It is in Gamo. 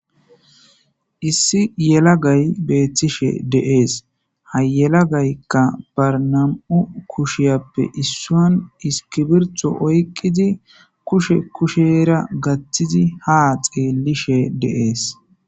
issi yelagay beethtishe de7ees hayelagaykka barnam7u kushiyappe issuan iskibirtho oyqizi kushe kushera gathtizi ha xeelishe de7ees